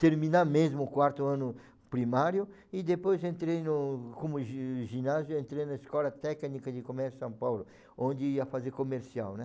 terminar mesmo o quarto ano primário e depois entrei no, como gi ginásio, entrei na Escola Técnica de Comércio São Paulo, onde ia fazer comercial, né?